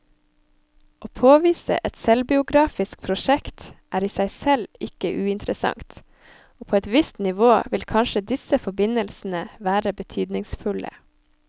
Å påvise et selvbiografisk prosjekt er i seg selv ikke uinteressant, og på et visst nivå vil kanskje disse forbindelsene være betydningsfulle.